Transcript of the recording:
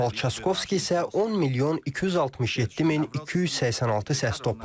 Rafał Çaskovski isə 10 milyon 267 min 286 səs toplayıb.